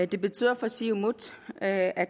det betyder for siumut at